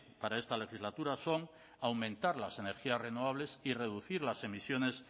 para esta legislatura son aumentar las energías renovables y reducir las emisiones